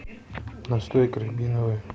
настойка рябиновая